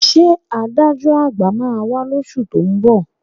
Ṣé adájọ́ à̀gbà máa wá lóṣù tó ń bọ̀?